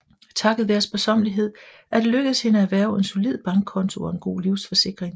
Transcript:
Takket være sparsommelighed er det lykkedes hende at erhverve en solid bankkonto og en god livsforsikring